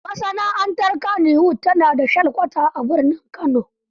Masana'antar Kannywood ta na da shelkwata a birnin Kano.